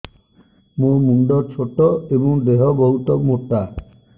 ମୋ ମୁଣ୍ଡ ଛୋଟ ଏଵଂ ଦେହ ବହୁତ ମୋଟା